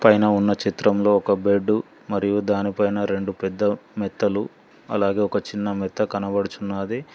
పైన ఉన్న చిత్రంలో ఒక బెడ్డు మరియు దానిపైన రెండు పెద్ద మెత్తలు అలాగే ఒక చిన్న మెత్త కనబడుచున్నాది